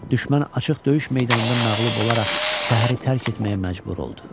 Düşmən açıq döyüş meydanında məğlub olaraq şəhəri tərk etməyə məcbur oldu.